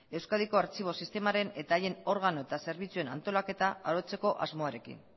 euskadiko artxibo sistemaren eta haien organo eta zerbitzuen antolaketa arautzeko asmoarekin